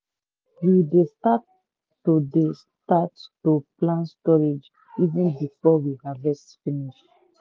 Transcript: we dey start to dey start to plan storage even before we harvest finish.